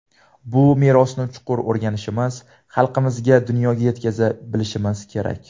Bu merosni chuqur o‘rganishimiz, xalqimizga, dunyoga yetkaza bilishimiz kerak.